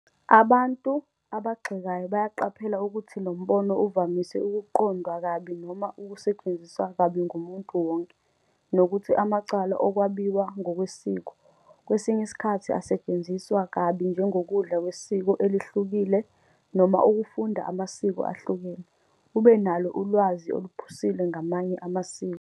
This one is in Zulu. Abantu abagxekayo bayaqaphela ukuthi lo mbono uvamise ukuqondwa kabi noma usetshenziswe kabi ngumuntu wonke, nokuthi amacala "okwabiwa ngokwesiko" kwesinye isikhathi asetshenziswa kabi njengokudla kwesiko elihlukile noma ukufunda ngamasiko ahlukene, ubenalo ulwazi oluphusile ngamanye amasiko.